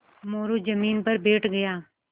मोरू ज़मीन पर बैठ गया